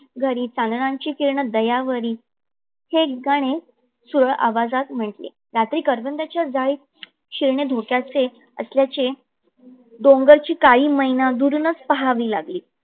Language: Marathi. घरी चांदण्याची किरणे दयावरी हे गाणे सूर आवाजात म्हटले. रात्री करवंदिच्या झाडीत शिरणे धोक्याचे असल्याचे डोंगरची काळी मैना दुरूनच पहावी लागली.